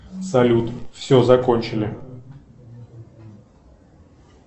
салют все закончили